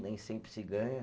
Nem sempre se ganha.